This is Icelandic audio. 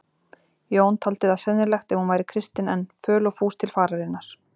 Jón taldi það sennilegt ef hún væri kristin enn, föl og fús til fararinnar.